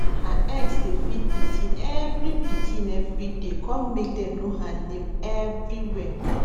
her eggs dey feed pikin every pikin every day come make dem know her name everywhere